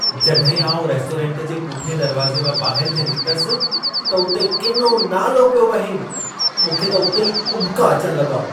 जॾहिं आउं रेस्टोरेंट जे पुठिएं दरवाज़े मां ॿाहिरि थे निकितसि, त उते किनो नालो पियो वहे। मूंखे त उते ई उॿिका अचण लॻा।